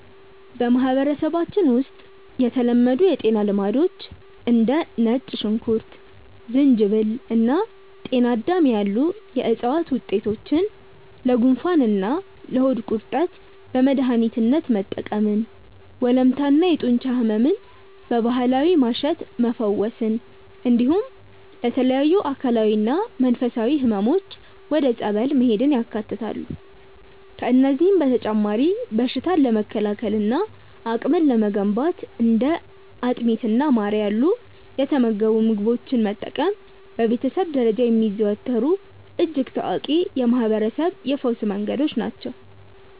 በማህበረሰባችን ውስጥ የተለመዱ የጤና ልማዶች እንደ ነጭ ሽንኩርት፣ ዝንጅብል እና ጤናዳም ያሉ የዕፅዋት ውጤቶችን ለጉንፋንና ለሆድ ቁርጠት በመድኃኒትነት መጠቀምን፣ ወለምታና የጡንቻ ሕመምን በባህላዊ ማሸት መፈወስን፣ እንዲሁም ለተለያዩ አካላዊና መንፈሳዊ ሕመሞች ወደ ጸበል መሄድን ያካትታሉ። ከእነዚህም በተጨማሪ በሽታን ለመከላከልና አቅም ለመገንባት እንደ አጥሚትና ማር ያሉ የተመገቡ ምግቦችን መጠቀም በቤተሰብ ደረጃ የሚዘወተሩ እጅግ ታዋቂ የማህርበረሰብ የፈውስ መንገዶች ናቸው።